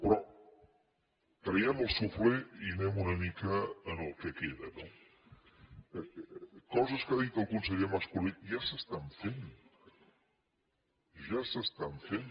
però traguem el suflé i anem una mica al que queda no coses que ha dit el conseller mas colell ja s’estan fent ja s’estan fent